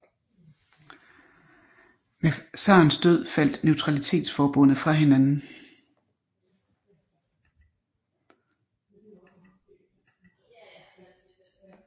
Med zarens død faldt neutralitetsforbundet fra hinanden